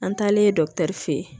An taalen dɔgɔtɔrɔ fɛ yen